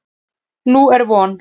Nú er von.